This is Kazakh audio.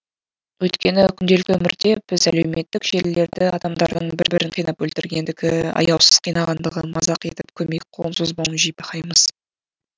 өйткені күнделікті өмірде біз әлеуметтік желілерді адамдардың бір бірін қинап өлтіргендігі аяусыз қинағандығы мазақ етіп көмек қолын созбауын жиі бақаймыз